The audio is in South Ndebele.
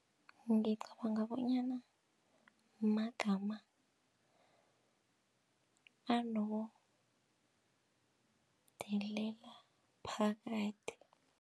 Ngicabanga bonyana magama anokudelela phakathi.